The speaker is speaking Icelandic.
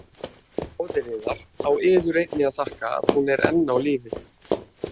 Móðir yðar á yður einni að þakka að hún er enn á lífi.